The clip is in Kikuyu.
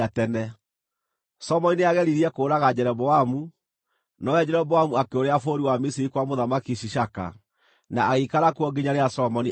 Solomoni nĩageririe kũũraga Jeroboamu, nowe Jeroboamu akĩũrĩra bũrũri wa Misiri kwa Mũthamaki Shishaka, na agĩikara kuo nginya rĩrĩa Solomoni aakuire.